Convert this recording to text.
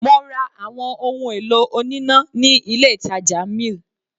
Mo ra àwọn ohun èlò oníná ní ilé ìtàjà mill.